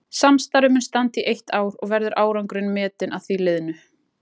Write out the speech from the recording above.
Samstarfið mun standa í eitt ár og verður árangurinn metinn að því liðnu.